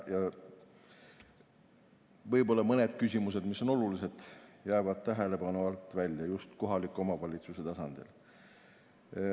Võib-olla mõned küsimused, mis on olulised, jäävad tähelepanu alt välja just kohaliku omavalitsuse tasandil.